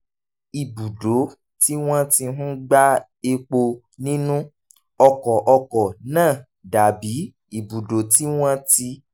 ibùdó tí wọ́n ti ń gba epo nínú ọkọ̀ ọkọ̀ náà dà bí ibùdó tí wọ́n ti